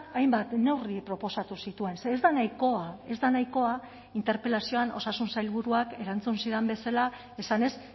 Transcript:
hainbat neurri proposatu zituen ze ez da nahikoa ez da nahikoa interpelazioan osasun sailburuak erantzun zidan bezala esanez